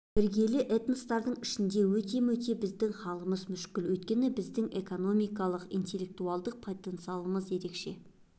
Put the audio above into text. іргелі этностардың ішінде өте-мөте біздің халіміз мүшкіл өйткені біздің экономикалық интеллектуалдық потенциалымыз ерекше